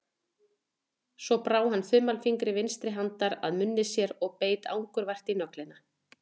Svo brá hann þumalfingri vinstri handar að munni sér og beit angurvær í nöglina.